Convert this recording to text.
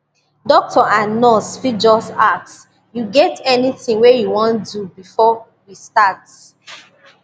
doctor and nurse fit just ask you get anything wey you wan do before we start